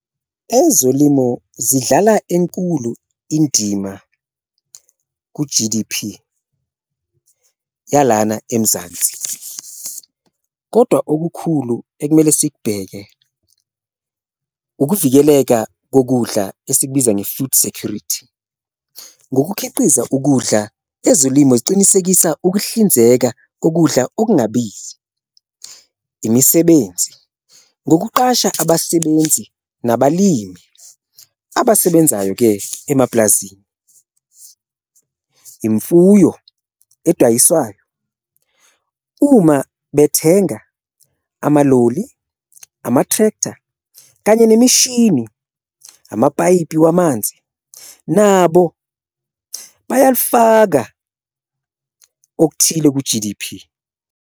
Ezolimo zidlala enkulu indima ku-G_D_P yalana eMzansi kodwa okukhulu ekumele sikubheke ukuvikeleka kokudla esikubiza nge-food security, ngokukhiqiza ukudla ezolimo zicinisekisa ukuhlinzeka kokudla okungabizi, imisebenzi, ngokuqasha abasebenzi nabalimi abasebenzayo-ke emapulazini. Imfuyo edayiswayo uma bethenga amaloli, ama-tractor, kanye nemishini, amapayipi wamanzi nabo bayalifaka okuthile ku-G_D_P.